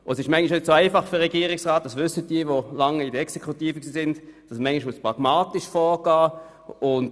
Manchmal ist es für den Regierungsrat nicht ganz einfach, und er muss pragmatisch vorgehen.